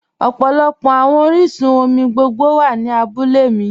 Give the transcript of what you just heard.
Ọpọlọpọ awọn oriṣun-omi gbogbo wa ni àbúlẹ̀ mi